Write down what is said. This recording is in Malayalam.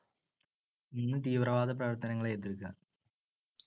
മൂന്ന് തീവ്രവാദപ്രവർത്തനങ്ങളെ എതിർക്കുക.